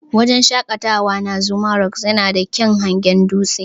Wajen shaƙatawa na "Zuma rock " yana da kyaun hangen dutsen.